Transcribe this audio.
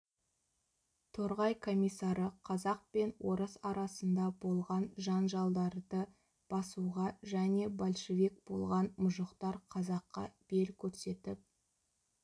торғай комиссары қазақ пен орыс арасында болған жанжалдарды басуға және большевик болған мұжықтар қазаққа бел көрсетіп